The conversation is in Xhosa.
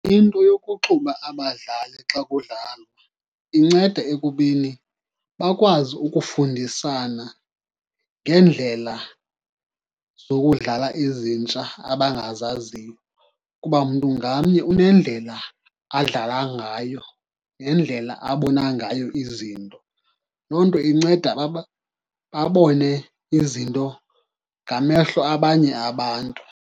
Into yokuxuba abadlali xa kudlalwa inceda ekubeni bakwazi ukufundisana ngeendlela zokudlala ezintsha abangazaziyo, kuba mntu ngamnye unendlela adlala ngayo nendlela abona ngayo izinto. Loo nto inceda babone izinto ngamehlo abanye abantu.